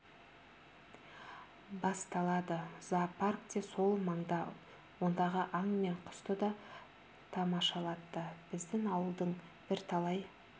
басталады зоопарк те сол маңда ондағы аң мен құсты да тамашалатты біздің ауылдың бірталай